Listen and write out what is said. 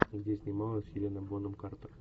где снималась хелена бонем картер